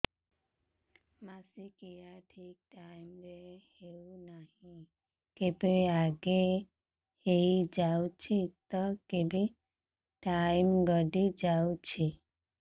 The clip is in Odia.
ମାସିକିଆ ଠିକ ଟାଇମ ରେ ହେଉନାହଁ କେବେ ଆଗେ ହେଇଯାଉଛି ତ କେବେ ଟାଇମ ଗଡି ଯାଉଛି